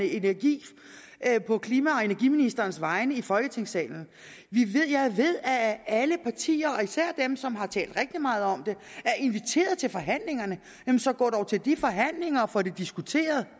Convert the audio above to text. energi på klima og energiministerens vegne her i folketingssalen jeg ved at at alle partier og især dem som har talt rigtig meget om det er inviteret til forhandlingerne og så gå dog til de forhandlinger og få det diskuteret